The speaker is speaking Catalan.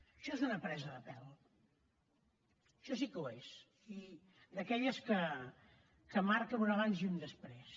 això és una presa de pèl això sí que ho és i d’aquelles que marquen un abans i un després